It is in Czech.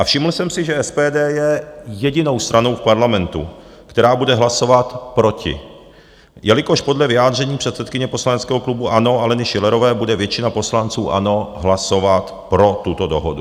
A všiml jsem si, že SPD je jedinou stranou v parlamentu, která bude hlasovat proti, jelikož podle vyjádření předsedkyně poslaneckého klubu ANO Aleny Schillerové bude většina poslanců ANO hlasovat pro tuto dohodu.